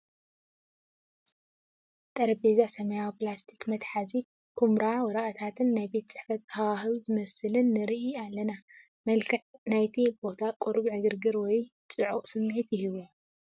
ጠረጴዛ፡ ሰማያዊ ፕላስቲክ መትሓዚ፡ ኵምራ ወረቓቕትን ናይ ቤት ጽሕፈት ሃዋህው ዝመስልን እርኢ። መልክዕ ናይቲ ቦታ ቁሩብ ዕግርግር ወይ ጽዑቕ ስምዒት ይህቦ።